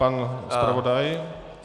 Pan zpravodaj.